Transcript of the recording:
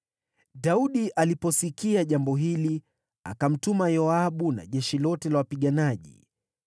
Daudi aliposikia jambo hili, akamtuma Yoabu na jeshi lote la wapiganaji.